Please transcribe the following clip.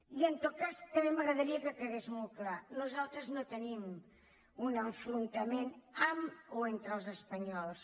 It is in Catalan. i en tot cas també m’agradaria que quedés molt clar nosaltres no tenim un enfrontament amb o entre els espanyols